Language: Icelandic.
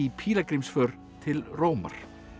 pílagrímsför til Rómar